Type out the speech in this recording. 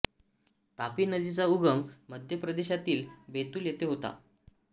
तापी नदीचा उगम मध्य प्रदेशातील बैतुल येथे होतो